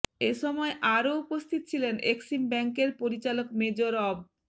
এ সময় আরো উপস্থিত ছিলেন এক্সিম ব্যাংকের পরিচালক মেজর অব